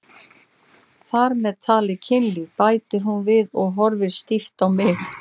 Þar með talið kynlíf, bætir hún við og horfir stíft á mig.